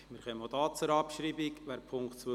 Wir stimmen über die Abschreibung von Punkt 2 ab.